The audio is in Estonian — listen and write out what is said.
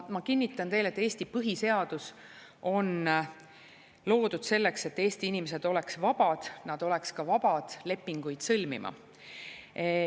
Ma kinnitan teile, et Eesti põhiseadus on loodud selleks, et Eesti inimesed oleksid vabad, nad oleksid ka vabad lepinguid sõlmima.